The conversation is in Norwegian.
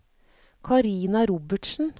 Karina Robertsen